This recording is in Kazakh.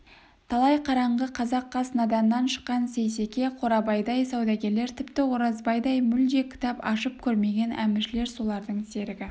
талай қараңғы қазақ қас наданнан шыққан сейсеке қорабайдай саудагерлер тіпті оразбайдай мүлде кітап ашып көрмеген әміршілер солардың серігі